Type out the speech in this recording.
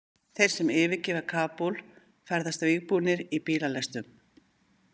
Þeir sem yfirgefa Kabúl ferðast vígbúnir í bílalestum.